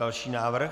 Další návrh.